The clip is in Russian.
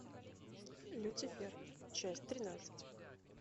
люцифер часть тринадцать